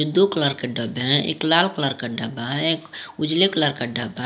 ये दो कलर के डब्बे हैं एक लाल कलर का डब्बा है एक उजले कलर का डब्बा --